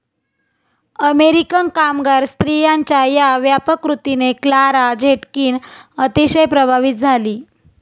American कामगार स्त्रियांच्या या व्यापक कृतीने क्लारा झेटकिन अतिशय प्रभावित झाली.